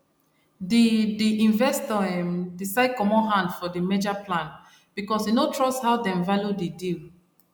de de investor um decide comot hand for di merger plan because e no trust how dem value di deal